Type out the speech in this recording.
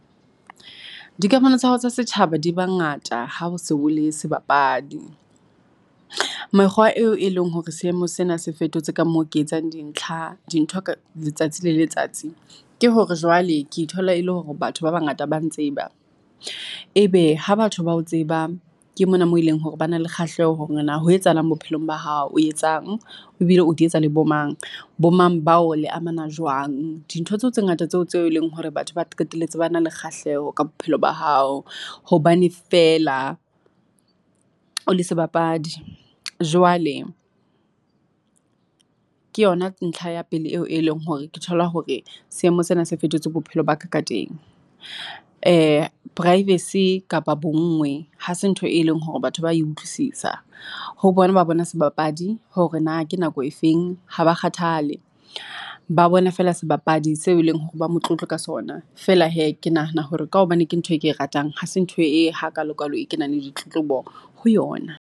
Dikamano tsa hao tsa setjhaba di ba ngata ha se o le sebapadi. Mekgwa eo e leng hore seemo sena se fetotse ka moo ke etsang dintlha dintho ka letsatsi le letsatsi. Ke hore jwale ke ithola e le hore batho ba bangata ba ntseba. Ebe ha batho bao tseba ke mona mo eleng hore ba na le kgahleho hore na ho etsahalang bophelong ba hao o etsang e bile o di etsa le bo mang. Bo mang bao le amana jwang. Dintho tseo tse ngata tseo tseo e leng hore batho ba qetelletse ba na le kgahleho ka bophelo ba hao. Hobane feela o le sebapadi, jwale ke yona ntlha ya pele eo e leng hore ke thola hore seemo sena se fetotse bophelo ba ka ka teng. Privacy kapa bonngwe ha se ntho e leng hore batho ba e utlwisisa, ho bona ba bona sebapadi hore na ke nako efeng ha ba kgathale. Ba bona feela sebapadi se e leng hore ba motlotlo ka sona, feela hee ke nahana hore ka hobane ke ntho e ke ratang, ha se ntho e hakalo-kalo e kenang le ditlotlobo ho yona.